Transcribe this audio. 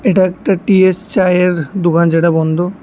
এটা একটা টি_এস চায়ের দোকান যেটা বন্ধ।